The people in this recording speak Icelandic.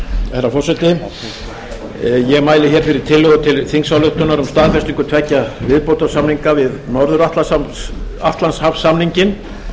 herra forseti ég mæli fyrir tillögu til þingsályktunar um staðfestingu tveggja viðbótarsamninga við norður atlantshafssamninginn